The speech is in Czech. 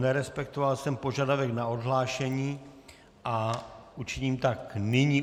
Nerespektoval jsem požadavek na odhlášení a učiním tak nyní.